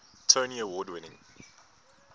tony award winning